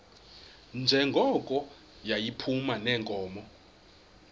njengoko yayiphuma neenkomo